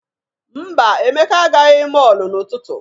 Mba, Emeka agaghị mọọlụ n'ụtụtụ.